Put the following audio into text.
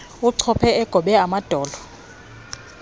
achophe egobe amadolo